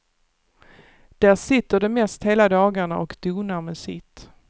Där sitter de mest hela dagarna och donar med sitt.